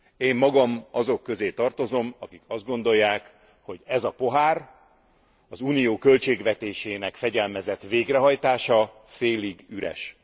Én magam azok közé tartozom, akik azt gondolják, hogy ez a pohár, az Unió költségvetésének fegyelmezett végrehajtása, félig üres.